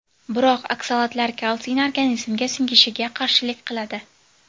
Biroq oksalatlar kalsiyni organizmga singishiga qarshilik qiladi.